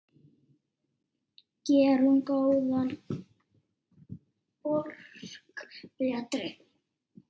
Gerum góða borg betri.